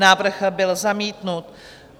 Návrh byl zamítnut.